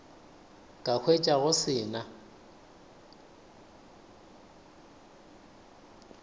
ka hwetša go se na